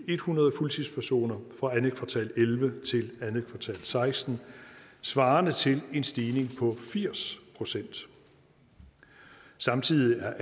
ethundrede fuldtidspersoner fra andet kvartal elleve til andet kvartal og seksten svarende til en stigning på firs procent samtidig er